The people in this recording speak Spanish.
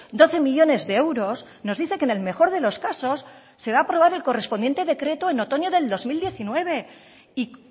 doce millónes de euros nos dice que en el mejor de los casos se va a aprobar el correspondiente decreto en otoño del dos mil diecinueve y